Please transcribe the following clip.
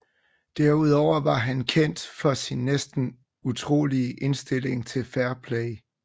Derudover var han kendt for sin næsten utrolige indstilling til fair play